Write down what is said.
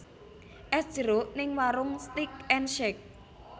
Es jeruk ning Waroenk Steak and Shake